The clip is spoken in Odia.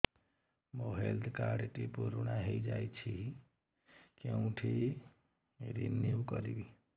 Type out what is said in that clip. ମୋ ହେଲ୍ଥ କାର୍ଡ ଟି ପୁରୁଣା ହେଇଯାଇଛି କେଉଁଠି ରିନିଉ କରିବି